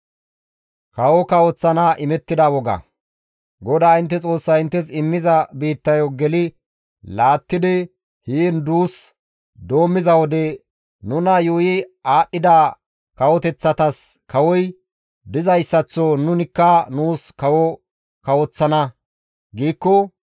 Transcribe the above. GODAA intte Xoossay inttes immiza biittayo geli laattidi heen duus doommiza wode, «Nuna yuuyi aadhdhida kawoteththatas kawoy dizayssaththo nunikka nuus kawo kawoththana» giikko,